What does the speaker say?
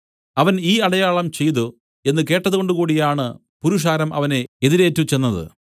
അവൻ ഈ അടയാളം ചെയ്തു എന്നു കേട്ടതുകൊണ്ടുകൂടിയാണ് പുരുഷാരം അവനെ എതിരേറ്റുചെന്നത്